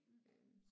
Mh